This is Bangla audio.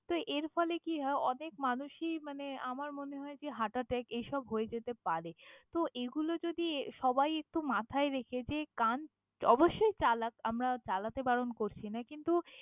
তো, এর ফলে কি হয় অনেক মানুষই মানে আমার মনে হয় যে heart attack এইসব হয়ে যেতে পারে। তো এগুলো যদি সবাই একটু মাথায় রেখে যে গান অবশ্যই চালাক, আমরা চালাতে বারণ করছি না কিন্তু।